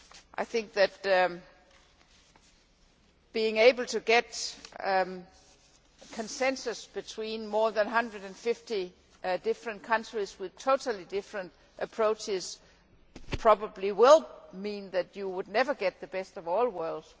I think that being able to get consensus between more than 150 different countries with totally different approaches probably will mean that you would never get the best of all worlds.